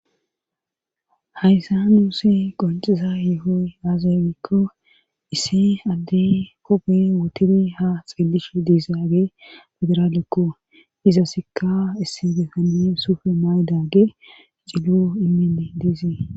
haysa nuusi qonxiza yuhoy aazagikko issi addi kophi wotiri ha xeelishe diisaage federaalekko izasikka issi beetani sufe maydage cilo imii deesii